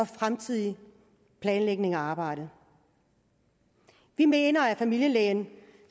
fremtidige planlægning af arbejdet vi mener at familielægen